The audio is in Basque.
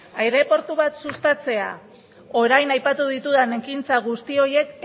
aireportu bat sustatzea orain aipatu ditudan ekintza guzti horiek